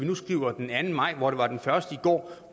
vi nu skriver den anden maj og det var den første i går